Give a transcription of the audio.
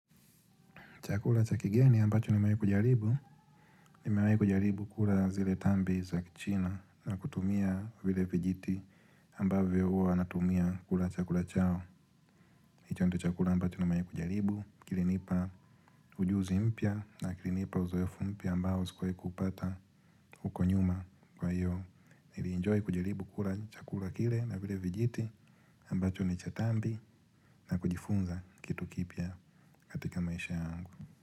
Chakula cha kigeni ambacho nimewahi kujaribu, nimewahi kujaribu kula zile tambi za kichina na kutumia vile vijiti ambavyo huwa wanatumia kula chakula chao. Hicho ndicho chakula ambacho nimewahi kujaribu, kilinipa ujuzi mpya na kilinipa uzoefu mpya ambao sikuwahi kuupata huko nyuma kwa hiyo. Nili enjoy kujaribu kula chakula kile na vile vijiti ambacho ni cha tambi na kujifunza kitu kipya katika maisha yangu.